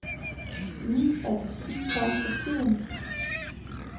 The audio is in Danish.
Ni af de ti kom til tiden.